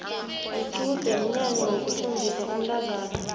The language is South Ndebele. iqude mnyanya wokuthombisa umntazana